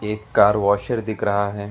एक car washer दिख रहा है।